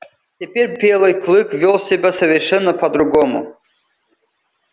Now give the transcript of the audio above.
теперь белый клык вёл себя совершенно по другому